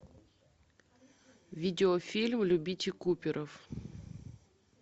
видеофильм любите куперов